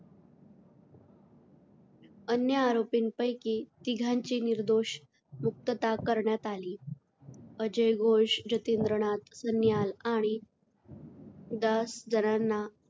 अन्य आरोपींपैकी तिघांची निर्दोष मुक्तता करण्यात आली. अजय घोष, जतींद्र नाथ सन्याल आणि दस जणांना,